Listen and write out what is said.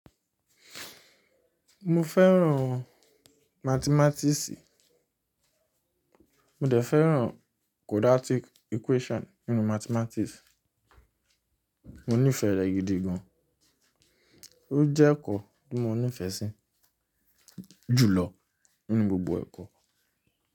Mo fẹ́ràn matimatiisi mo dẹ̀ fẹ́ràn quadratic equation n nu mathematics. Mo nífẹ̀ẹ́ rẹ̀ gidi gan. Ó jẹ́ ẹ̀kọ́ ní mo nífẹ̀ẹ́ sí jùlọ n nú gbogbo ẹ̀kọ́.